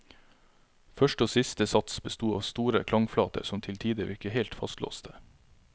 Første og siste sats besto av store klangflater som til tider virket helt fastlåste.